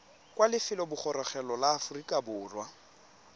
kwa lefelobogorogelong la aforika borwa